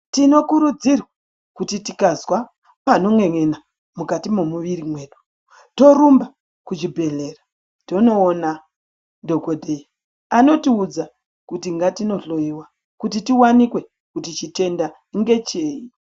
Tino kurudzirwa kuti tikazwa panon'en'ena mukati momuviri mwedu torumba kuchi bhedhlera tinoona dhokodheya anotiudza kuti ngatinohloiwa kuti tiwanikwe kuti chitenda ndecheyi.